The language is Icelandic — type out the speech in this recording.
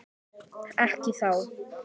Ekki þá.